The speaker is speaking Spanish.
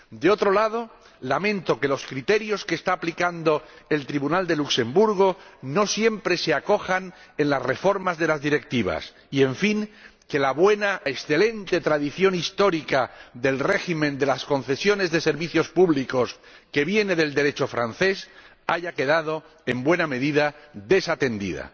Por otro lado, lamento que los criterios que está aplicando el Tribunal de Luxemburgo no siempre se acojan en las reformas de las directivas y, en fin, que la excelente tradición histórica del régimen de las concesiones de servicios públicos, que viene del Derecho francés, haya quedado en buena medida desatendida.